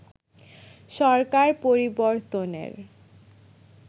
সরকার পরিবর্তনের